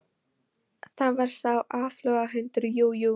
Það var sá áflogahundur, jú, jú.